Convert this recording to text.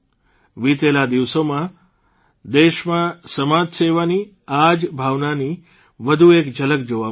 વિતેલા દિવસોમાં દેશમાં સમાજસેવાની આ જ ભાવનાની વધુ એક ઝલક જોવા મળી